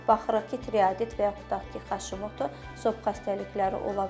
Baxırıq ki, tiroidit və yaxud da ki, haşimato, zob xəstəlikləri ola bilir.